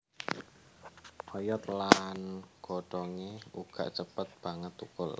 Oyot lan godhongé uga cepet banget thukul